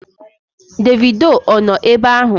Davido ọ nọ ebe ahụ?